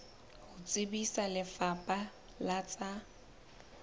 ho tsebisa lefapha la tsa